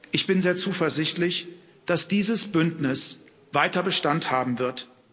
Ich bin sehr zuversichtlich, dass dieses Bündnis weiter Bestand haben wird.